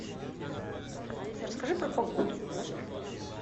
алиса расскажи про погоду в нашем отеле